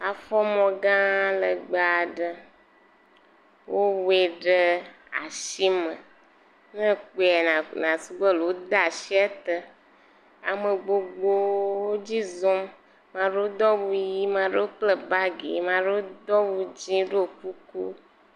Afɔmɔ gã legbee aɖe, wowɔe ɖe asi me ne ekpɔa nasu be ɖe wode asi ete, ame vovovowo edzi zɔm, maɖewo do awu ʋi, maɖewo kpla bagi, maɖewo do awu dzɛ̃ ɖo kuku.